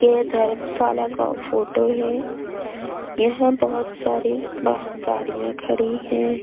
के धर्मशाला का फोटो है यहां बहुत सारी बाहर गाड़ियां खड़ी हैं।